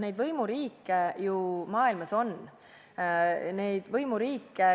Neid võimuriike maailmas on.